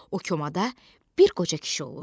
O komada bir qoca kişi olur.